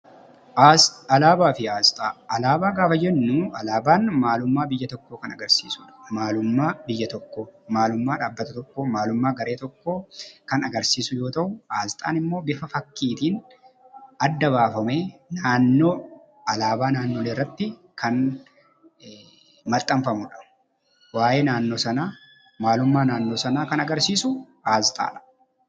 Alaabaa gaafa jennu alaabaan maalummaa biyya tokkoo kan agarsiisudha. Maalummaa biyya tokkoo, maalummaa dhaabbata tokkoo, maalummaa garee tokkoo kan agarsiisu yoo ta'u, asxaan immoo bifa fakkiitiin adda baafamee naannoo alaabaa naannolee irratti kan maxxanfamudha. Waa'ee naannoo sanaa, maalummaa naannoo sanaa kan agarsiisu asxaadha.